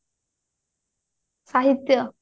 ସାହିତ୍ଯ